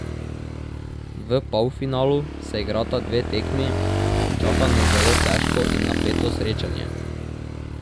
V polfinalu se igrata dve tekmi, čaka nas zelo težko in napeto srečanje.